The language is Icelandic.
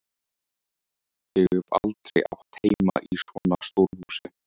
Ég hef aldrei átt heima í svona stóru húsi.